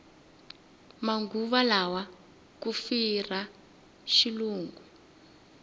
manguva lawa ku firha xilungu